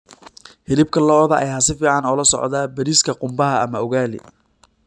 Hilibka lo'da ayaa si fiican ula socda bariiska qumbaha ama ugali.